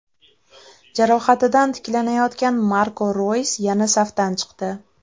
Jarohatidan tiklanayotgan Marko Roys yana safdan chiqdi.